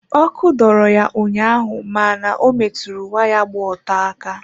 Òkù dọrọ ya ụnyaahụ ma na ọ metụrụ waya gba ọtọ aka.